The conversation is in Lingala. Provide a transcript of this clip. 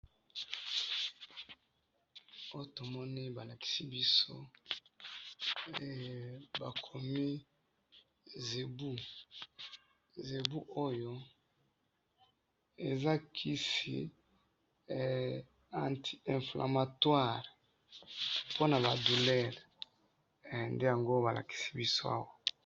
oyo to moni ba likisi biso bakomi zebu zebu oyo eza kisi anti inflamatoire pona ba douleur nde yango ba likisi biso